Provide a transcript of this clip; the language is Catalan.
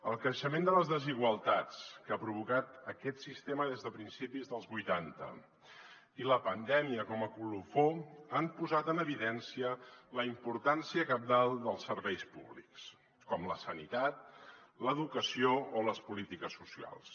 el creixement de les desigualtats que ha provocat aquest sistema des de principis dels vuitanta i la pandèmia com a colofó han posat en evidència la importància cabdal dels serveis públics com la sanitat l’educació o les polítiques socials